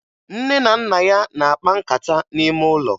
Nne na nna ya na-akpa nkata n'ime ụlọ